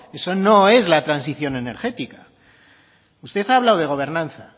eso no es la transición energética usted ha hablado de gobernanza